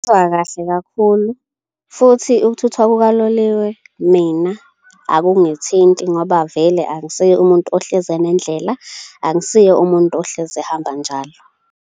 kahle kakhulu futhi ukuthuthwa kukaloliwe, mina akungithinti ngoba vele angisiye umuntu ohlezi enendlela, angisiye umuntu ohlezi ehamba njalo.